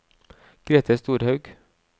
Grethe Storhaug